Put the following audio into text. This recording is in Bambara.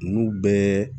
Ninnu bɛɛ